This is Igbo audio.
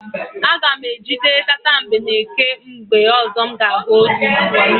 Aga m ejide tatambeneke mgbe ọzọ m ga-ahụ otu.